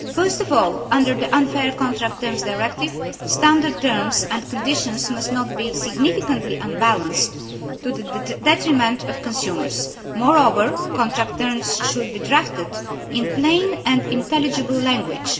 First of all, under the Unfair Contract Terms Directive, standard terms and conditions must not be significantly unbalanced to the detriment of consumers. Moreover, contract terms should be drafted in plain and intelligible language.